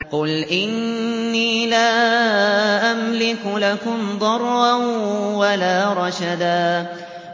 قُلْ إِنِّي لَا أَمْلِكُ لَكُمْ ضَرًّا وَلَا رَشَدًا